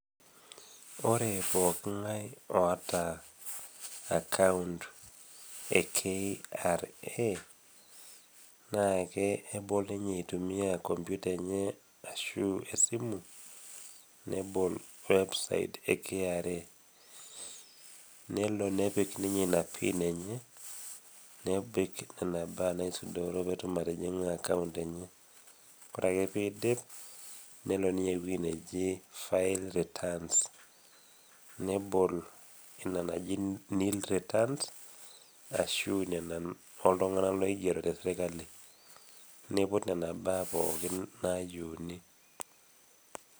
Ore pooki ngae oata account e KRA, naa kebol ninye eitumia computer enye ashu e simu nebol website e KRA nelo nepik ninye ina pin enye. nepik inena baa naisudoro pee etum atabolo account enye. Ore ake peedim nelo ninye eweji neji, file returns. nebol ine neji nil returns ashu nena ooltunganak loigero te sirkali neiput inena baa pookin naa yieuni.